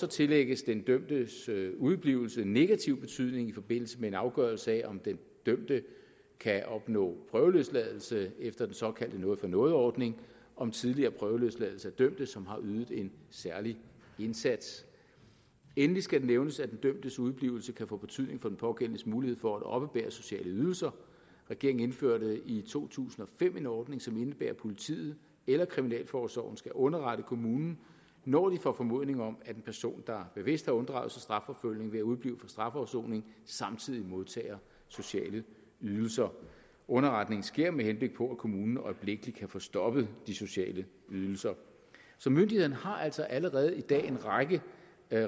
tillægges den dømtes udeblivelse negativ betydning i forbindelse med en afgørelse af om den dømte kan opnå prøveløsladelse efter den såkaldte noget for noget ordning om tidligere prøveløsladelse af dømte som har ydet en særlig indsats endelig skal det nævnes at den dømtes udeblivelse kan få betydning for den pågældendes mulighed for at oppebære sociale ydelser regeringen indførte i to tusind og fem en ordning som indebærer at politiet eller kriminalforsorgen skal underrette kommunen når de får formodning om at en person der bevidst har unddraget sig strafforfølgning ved at udeblive fra strafafsoning samtidig modtager sociale ydelser underretningen sker med henblik på at kommunen øjeblikkelig kan få stoppet de sociale ydelser myndighederne har altså allerede i dag en række